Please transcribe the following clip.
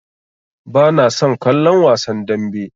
Bana son kallon wasan dambe.